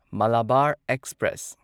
Malabar express